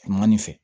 Manin fɛ